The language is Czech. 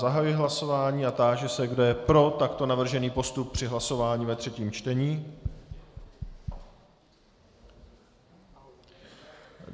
Zahajuji hlasování a táži se, kdo je pro takto navržený postup při hlasování ve třetím čtení.